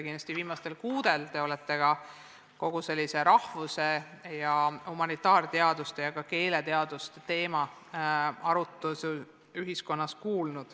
Kindlasti olete viimastel kuudel kuulnud ühiskonnas arutlusi rahvus- ja humanitaarteaduste ja ka keeleteaduste teemadel.